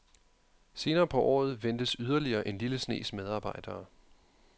Senere på året ventes yderligere en lille snes medarbejdere.